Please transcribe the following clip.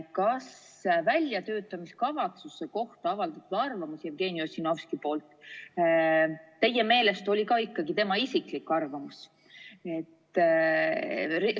Kas väljatöötamiskavatsuse kohta arvamuse avaldamine Jevgeni Ossinovski poolt teie meelest oli ka tema isiklik arvamus?